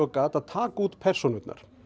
gat að taka út persónurnar